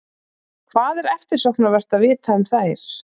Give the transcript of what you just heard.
Hvað er eftirsóknarvert að vita um þær?